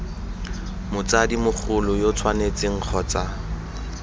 motsadi mogolo yo tshwanetseng kgotsa